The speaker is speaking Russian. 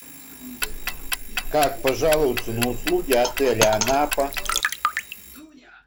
как пожаловаться на услуги отеля анапа